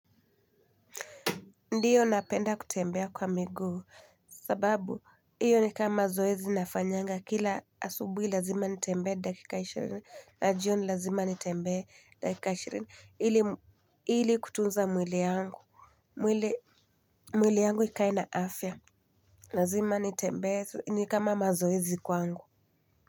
Ndiyo napenda kutembea kwa miguu sababu hiyo ni kama zoezi nafanyanga kila asubuhi lazima nitembee dakika ishirini na jioni lazima nitembee dakika ishirini ili kutunza mwili yangu mwili yangu ikaae na afya lazima nitembee ni kama mazoezi kwangu.